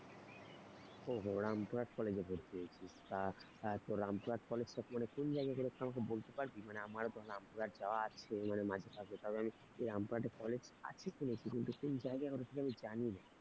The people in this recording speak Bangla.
ও হো রামপুরহাট college এ ভর্তি হয়েছিস, তা তোর রামপুরহাট college টা পড়ে কোন জায়গায় গেলে সেটা আমায় বলতে পারবি মানে আমার বা রামপুরহাট যাওয়া আছে মানে মাঝে সাজে কারণ আমি রামপুরহাটে college আছে কিনা সেটা ঠিক জায়গায় সেটা আমি জানিনা,